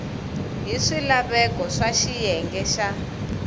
hi swilaveko swa xiyenge xa